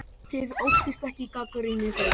Þið óttist ekki gagnrýni þeirra?